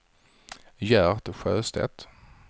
Gert Sjöstedt